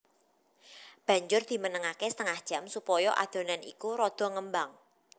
Banjur dimenengake setengah jam supaya adonan iku rada ngembang